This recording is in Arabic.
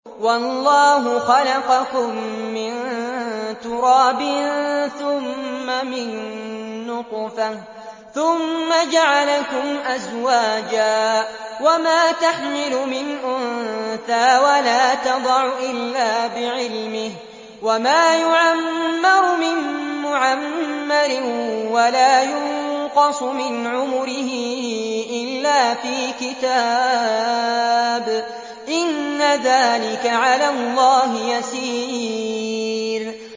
وَاللَّهُ خَلَقَكُم مِّن تُرَابٍ ثُمَّ مِن نُّطْفَةٍ ثُمَّ جَعَلَكُمْ أَزْوَاجًا ۚ وَمَا تَحْمِلُ مِنْ أُنثَىٰ وَلَا تَضَعُ إِلَّا بِعِلْمِهِ ۚ وَمَا يُعَمَّرُ مِن مُّعَمَّرٍ وَلَا يُنقَصُ مِنْ عُمُرِهِ إِلَّا فِي كِتَابٍ ۚ إِنَّ ذَٰلِكَ عَلَى اللَّهِ يَسِيرٌ